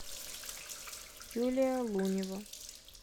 юлия лунева